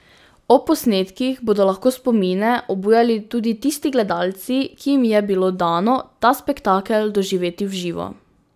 Ob posnetkih bodo lahko spomine obujali tudi tisti gledalci, ki jim je bilo dano ta spektakel doživeti v živo.